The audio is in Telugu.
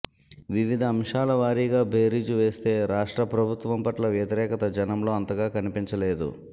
వివిధ అంశాల వారీగా బేరీజు వేస్తే రాష్ట్ర ప్రభుత్వం పట్ల వ్యతిరేకత జనంలో అంతగా కనిపించలేదు